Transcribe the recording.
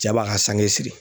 Cɛ b'a ka sange siri.